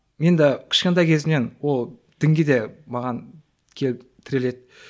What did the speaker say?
енді кешкентай кезімнен ол дінге де маған келіп тіреледі